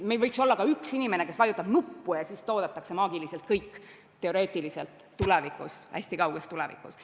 Meil võiks olla ka üks inimene, kes vajutab nuppu – teoreetiliselt niimoodi maagiliselt toodetakse kõik hästi kauges tulevikus.